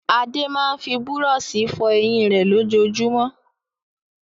Adé máa ń fi búrọ́ṣì fọ eyín rẹ̀ lójoojúmọ́.